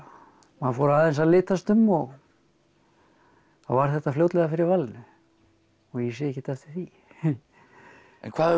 maður fór aðeins að litast um og þá varð þetta fljótlega fyrir valinu og ég sé ekkert eftir því en hvað